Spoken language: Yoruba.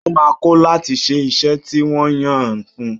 Ó máa kọ̀ láti ṣe iṣẹ́ tí wọ́n yàn fún un.